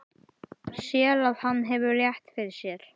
Sér að hann hefur rétt fyrir sér.